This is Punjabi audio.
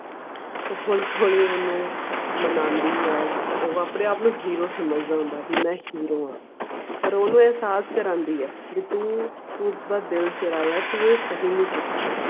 ਉਹ ਉਸ ਨੂੰ ਮਨਾਉਂਦੀ ਐ ਤਾਂ ਉਹ ਆਪਣੇ ਆਪ ਨੂੰ hero ਸਮਝਦਾ ਹੁੰਦਾ ਐ ਬੀ ਮੈਂ hero ਆਂ ਪਰ ਓਹਨੂੰ ਇਹਸਾਸ ਕਰਾਉਂਦੀ ਐ ਬੀ ਤੂੰ ਓਹਦਾ ਦਿਲ ਚੁਰਾਇਆ ਐ ਤੂੰ ਓਹਦੀ ਕੀਮਤ ਚੁਕਾ